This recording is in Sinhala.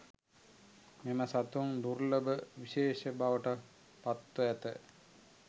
මෙම සතුන් දුර්ලභ විශේෂ බවට පත්ව ඇත